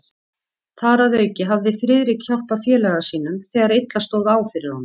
Þar að auki hafði Friðrik hjálpað félaga sínum, þegar illa stóð á fyrir honum.